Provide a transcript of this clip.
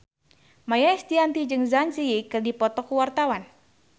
Maia Estianty jeung Zang Zi Yi keur dipoto ku wartawan